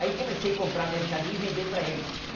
Aí comecei comprar mercadoria e vender para eles.